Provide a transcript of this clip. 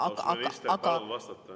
Austatud minister, palun vastata.